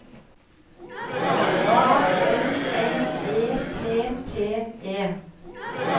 A N N E T T E